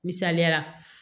Misaliya la